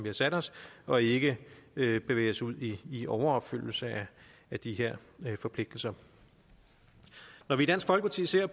har sat os og ikke bevæge os ud i i overopfyldelse af de her forpligtelser når vi i dansk folkeparti ser